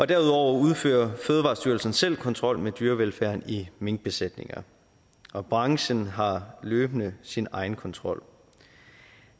derudover udfører fødevarestyrelsen selv kontrol med dyrevelfærden i minkbesætninger og branchen har løbende sin egen kontrol